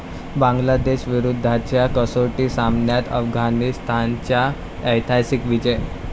बांगलादेशविरुद्धच्या कसोटी सामन्यात अफगाणिस्तानचा ऐतिहासिक विजय